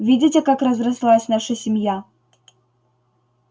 видите как разрослась наша семья